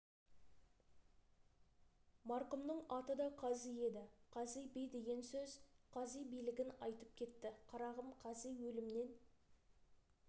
марқұмның аты да қази еді қази би деген сөз қази билігін айтып кетті қарағым қази өлімнен